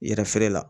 Yɛrɛ feere la